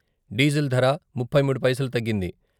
Diesel ధర ముప్పై మూడు పైసలు తగ్గింది.